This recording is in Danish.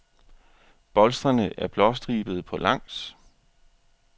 Bolstrene er blåstribede på langs.